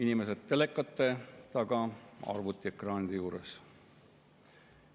Inimesed telekate taga, arvutiekraani juures!